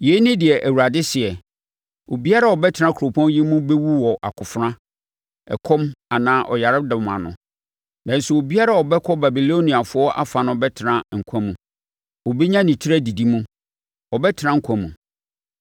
“Yei ne deɛ Awurade seɛ: Obiara a ɔbɛtena kuropɔn yi mu bɛwu wɔ akofena, ɛkɔm anaa ɔyaredɔm ano, nanso obiara a ɔbɛkɔ Babiloniafoɔ afa no bɛtena nkwa mu. Ɔbɛnya ne tiri adidi mu, ɔbɛtena nkwa mu.